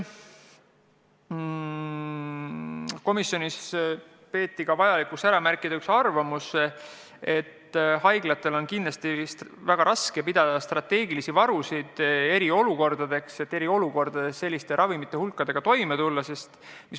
Komisjonis peeti ka vajalikuks ära märkida üks arvamus, et haiglatel on kindlasti väga raske hoida strateegilisi varusid eriolukordadeks, et eriolukordades vajalike ravimite hulkadega toime tulla.